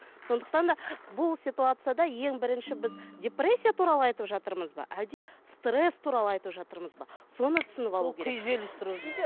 сондықтан да бұл ситуацияда ең бірінші біз депрессия туралы айтып жатырмыз ба әлде стресс туралы айтып жатырмыз ба соны түсініп алу керек